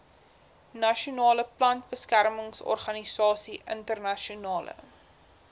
nasionale plantbeskermingsorganisasie internasionale